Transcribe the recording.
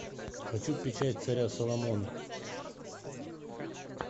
хочу печать царя соломона